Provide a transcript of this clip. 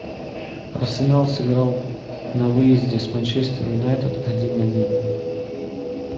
арсенал сыграл на выезде с манчестер юнайтед один один